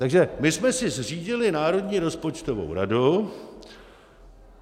Takže my jsme si zřídili Národní rozpočtovou radu.